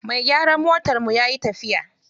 Mai gyaran motarmu yayi tafiya.